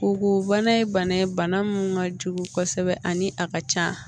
Kogo bana ye bana ye bana min ka jugu kosɛbɛ ani a ka ca